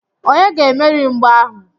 Onye ga-emeri mgba ahu?